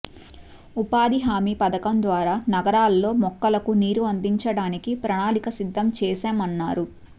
ఉపాధి హామీ పథకం ద్వారా నగరాల్లో మొక్కలకు నీరు అందించడానికి ప్రణాళిక సిద్దం చేశామన్నారు